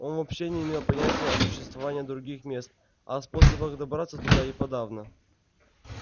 он вообще не имел понятия о существовании других мест а о способах добраться туда и подавно